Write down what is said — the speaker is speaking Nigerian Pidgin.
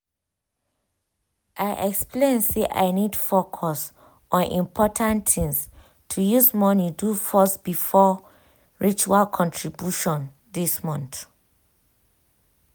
i explain say i need focus on important things to use money do first before spiritual contributions this month.